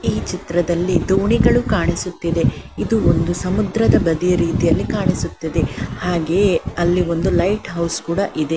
ಈ ಚಿತ್ರದಲ್ಲಿ ದೋಣಿಗಳು ಕಾಣಿಸುತ್ತಿದೆ ಇದು ಒಂದು ಸಮುದ್ರದ ಬದಿಯ ರೀತಿಯಲ್ಲಿ ಕಾಣಿಸುತ್ತಿದೆ ಹಾಗೆಯೆ ಅಲ್ಲಿ ಒಂದು ಲೈಟ್ ಹೌಸ್ ಕೂಡ ಇದೆ.